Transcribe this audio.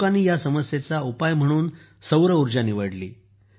लोकांनी ह्या समस्येचा उपाय म्हणून सौर ऊर्जा निवडली